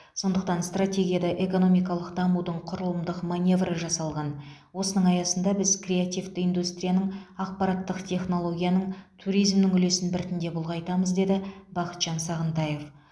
сондықтан стратегияда экономикалық дамудың құрылымдық маневрі жасалған осының аясында біз креативті индустрияның ақпараттық технологияның туризмнің үлесін біртіндеп ұлғайтамыз деді бақытжан сағынтаев